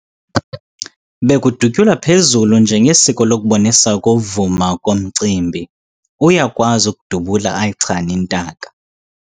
Bekudutyulwa phezulu njengesiko lokubonisa ukuvuma komcimbi. uyakwazi ukudubula ayichane intaka